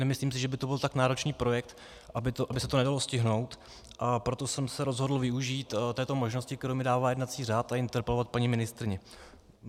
Nemyslím si, že by to byl tak náročný projekt, aby se to nedalo stihnout, a proto jsem se rozhodl využít této možnosti, kterou mi dává jednací řád, a interpelovat paní ministryni.